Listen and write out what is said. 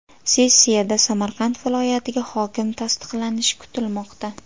Sessiyada Samarqand viloyatiga hokim tasdiqlanishi kutilmoqda.